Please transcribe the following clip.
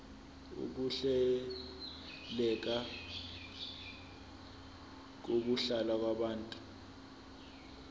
ukuhleleka kokuhlala kwabantu